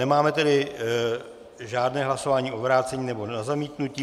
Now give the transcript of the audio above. Nemáme tedy žádné hlasování o vrácení nebo na zamítnutí.